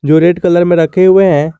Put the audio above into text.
जो red colour में रखे हुए हैं।